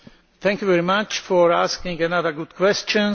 Thank you very much for asking another good question.